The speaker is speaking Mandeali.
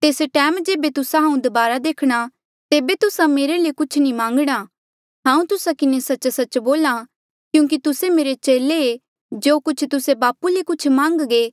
तेस टैम जेबे तुस्सा हांऊँ दबारा देखणा तेबे तुस्सा मेरे ले कुछ नी मान्गणा हांऊँ तुस्सा किन्हें सच्च सच्च बोल्हा क्यूंकि तुस्से मेरे चेले ऐें जो कुछ तुस्से बापू ले कुछ मान्घगे